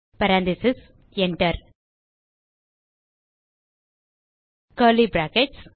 parentheses Enter curly brackets